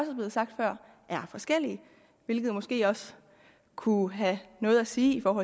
er blevet sagt før er forskellige hvilket måske også kunne have noget at sige om